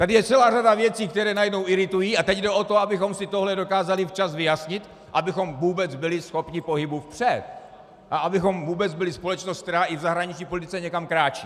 Tady je celá řada věcí, které najednou iritují, a teď jde o to, abychom si tohle dokázali včas vyjasnit, abychom vůbec byli schopni pohybu vpřed a abychom vůbec byli společnost, která i v zahraniční politice někam kráčí.